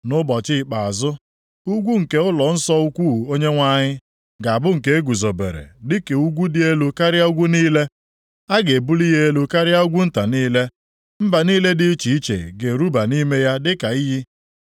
Nʼụbọchị ikpeazụ, ugwu nke ụlọnsọ ukwu Onyenwe anyị, ga-abụ nke eguzobere dịka ugwu dị elu karịa ugwu niile, a ga-ebuli ya elu karịa ugwu nta niile, mba niile dị iche iche ga-eruba nʼime ya dịka iyi.